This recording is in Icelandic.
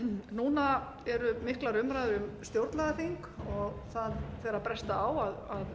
núna eru miklar umræður um stjórnlagaþing og það fer að bresta á að